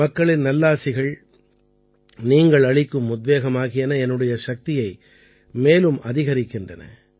மக்களின் நல்லாசிகள் நீங்கள் அளிக்கும் உத்வேகம் ஆகியன என்னுடைய சக்தியை மேலும் அதிகரிக்கின்றன